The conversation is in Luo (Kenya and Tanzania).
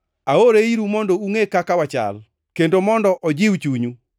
Aore iru mondo ungʼe kaka wachal, kendo mondo ojiw chunyu.